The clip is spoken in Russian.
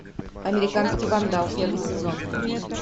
американский вандал первый сезон